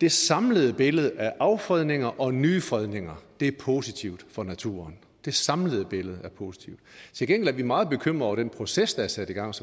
det samlede billede af affredninger og nye fredninger er positivt for naturen det samlede billede er positivt til gengæld er vi meget bekymrede over den proces der er sat i gang som